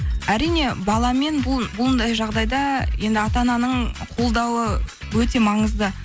әрине баламен бұндай жағдайда енді ата ананың қолдауы өте маңызды